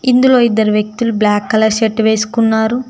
ఇందులో ఇద్దరు వ్యక్తులు బ్లాక్ కలర్ షర్టు వేసుకున్నారు.